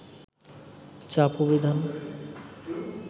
চাপ ও বিধান